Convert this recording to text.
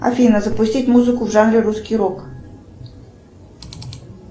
афина запустить музыку в жанре русский рок